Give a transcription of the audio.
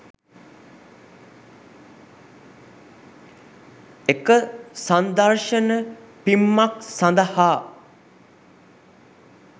එක සංදර්ශන පිම්මක් සඳහා